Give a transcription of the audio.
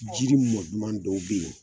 Jiri mɔ duman dɔw be yen